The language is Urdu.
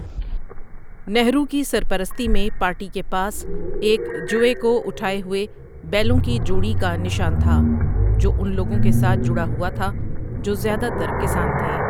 نہرو کی سرپرستی میں پارٹی کے پاس 'ایک جوئے کو اٹھائے ہوئے بیلوں کی جوڑی' کا نشان تھا جو ان لوگوں کے ساتھ جڑا ہوا تھا جو زیادہ تر کسان تھے۔